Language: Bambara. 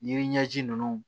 Yiri ɲɛji ninnu